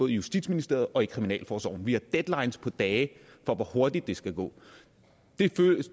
i justitsministeriet og i kriminalforsorgen vi har deadlines på dage for hvor hurtigt det skal gå